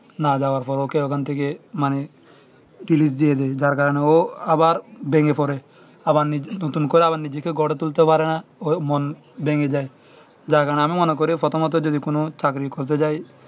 না যাওয়ার পরে ওকে ওখান থেকে মানে delete দিয়ে দেয় যার কারণে ও আবার ভেঙে পড়ে আবার নিজের নতুন করে নিজেকে গড়ে তুলতে পারে না ওর মন ভেঙ্গে যায় যার কারণে আমি মনে করি প্রথমত যদি কোন চাকরি করতে যায়